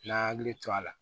N'an y'an hakili to a la